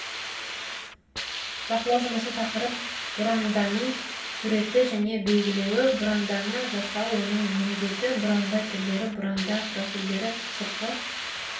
бақылау жұмысы тақырып бұранданың суреті және белгілеуі бұранданы жасау оның міндеті бұранда түрлері бұранда профилдері сыртқы